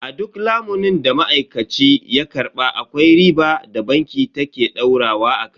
A duk lamunin da ma'aikaci ya karba akwai riba da banki ta ke daurawa akai.